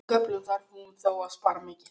Með köflum þarf hún þó að spara mikið.